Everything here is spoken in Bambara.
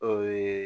O ye